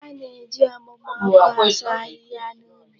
A na-eji ọgbugba ọkụ asụ ahịhịa n'ubi.